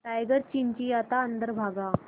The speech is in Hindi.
टाइगर चिंचिंयाता अंदर भागा